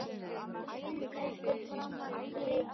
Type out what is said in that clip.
Í mér bjó líka einhver framandleiki.